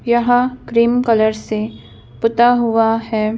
यहा cream colour से पुता हुआ है।